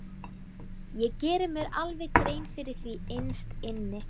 Ég geri mér alveg grein fyrir því innst inni.